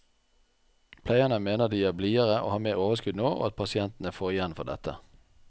Pleierne mener de er blidere og har mer overskudd nå, og at pasientene får igjen for dette.